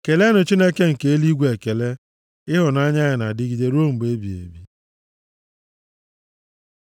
Keleenụ Chineke nke eluigwe ekele. Ịhụnanya ya na-adịgide ruo mgbe ebighị ebi.